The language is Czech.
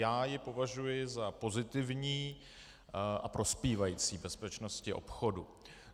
Já ji považuji za pozitivní a prospívající bezpečnosti obchodu.